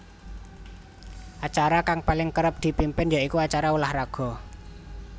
Acara kang paling kerep dipimpin ya iku acara ulah raga